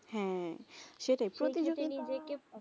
হেঁ সেটাই প্রতিযোগীতা